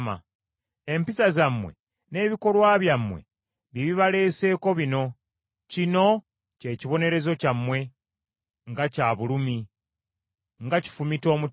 “Empisa zammwe, n’ebikolwa byammwe bye bibaleeseeko bino. Kino kye kibonerezo kyammwe. Nga kya bulumi! Nga kifumita omutima.”